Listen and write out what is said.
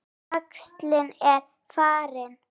Æxlin eru farin.